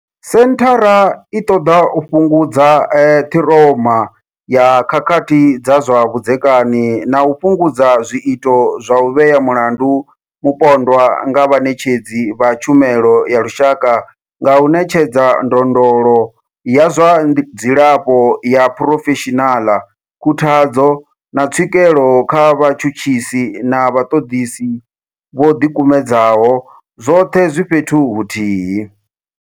Senthara i ṱoḓa u fhungudza ṱhiroma ya khakhathi dza zwa vhudzekani na u fhungudza zwiito zwa u vhea mulandu mupondwa nga vhaṋetshedzi vha tshumelo ya lushaka nga u ṋetshedza ndondolo ya zwa dzilafho ya phurofeshinala, khuthadzo, na tswikelo kha vhatshutshisi na vhaṱoḓisi vho ḓikumedzaho, zwoṱhe zwi fhethu huthihi.